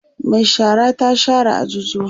Mai shara ta share ajujuwan